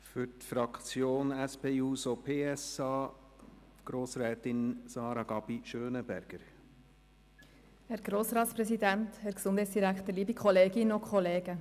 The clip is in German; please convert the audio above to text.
Für die Fraktion SP-JUSO-PSA-Fraktion spricht Grossrätin Gabi Schönenberger.